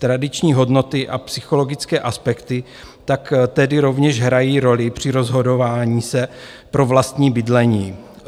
Tradiční hodnoty a psychologické aspekty tak tedy rovněž hrají roli při rozhodování se pro vlastní bydlení.